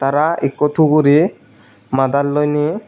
tara ekko tuguri madad loine.